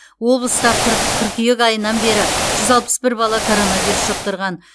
облыста қырқ қыркүйек айынан бері жүз алпыс бір бала коронавирус жұқтырған